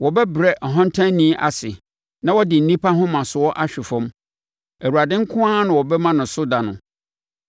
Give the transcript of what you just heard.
Wɔbɛbrɛ ɔhantanni ase, na wɔde nnipa ahomasoɔ ahwe fam; Awurade nko ara na wɔbɛma no so da no,